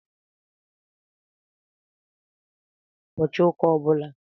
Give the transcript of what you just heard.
A na m agbà mgbaaka ọlaedo ụbọchị ụka ọ bụla.